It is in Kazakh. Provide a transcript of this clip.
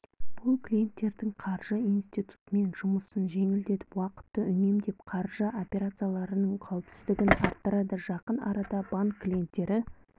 бұл клиенттердің қаржы институтымен жұмысын жеңілдетіп уақытты үнемдеп қаржы операцияларының қауіпсіздігін арттырады жақын арада банк клиенттері